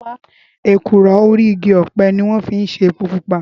Ékúró óri igi òpè niwòn fi n sé épó púpá